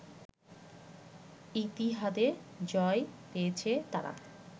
ইতিহাদে জয় পেয়েছে তারা